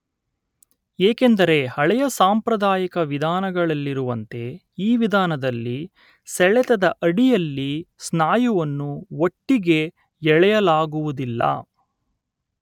ಏಕೆಂದರೆ ಹಳೆಯ ಸಾಂಪ್ರದಾಯಿಕ ವಿಧಾನಗಳಲ್ಲಿರುವಂತೆ ಈ ವಿಧಾನದಲ್ಲಿ ಸೆಳೆತದ ಅಡಿಯಲ್ಲಿ ಸ್ನಾಯುವನ್ನು ಒಟ್ಟಿಗೇ ಎಳೆಯಲಾಗುವುದಿಲ್ಲ